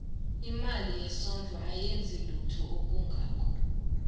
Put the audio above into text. imali yesondlo ayenzi lutho olungako